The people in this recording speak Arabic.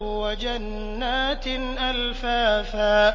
وَجَنَّاتٍ أَلْفَافًا